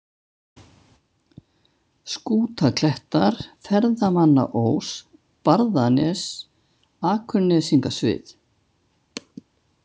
Skútaklettar, Ferðamannaós, Barðanes, Akurnesingasvið